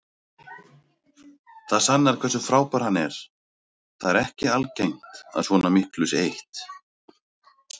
Það sannar hversu frábær hann er, það er ekki algengt að svona miklu sé eytt.